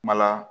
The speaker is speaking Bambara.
Mala